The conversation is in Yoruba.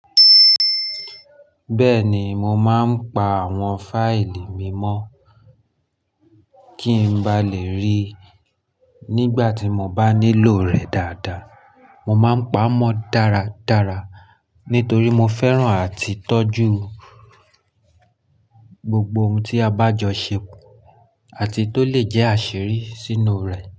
Bẹ́ẹ̀ni, mo máa ń pa àwọn fáìlì mi mọ́ kí n ba lè rí i nígbà tí mo bá nílò rẹ̀ dáadáa. Mo máa ń pa á mọ́ dáradára nítorí mo fẹ́ràn àti tọ́jú gbogbo ohun tí a bá jọ ṣe àti tó lè jẹ́ àṣírí sínú rẹ̀.